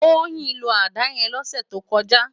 Toyin ló àdá yèn lòsè tókòjá